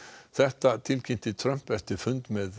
þetta tilkynnti Trump eftir fund með